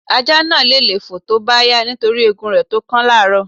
Ajá náà le lé fòó tó bá yá nítorí egun rẹ̀ tó kán lárọ́ọ̀.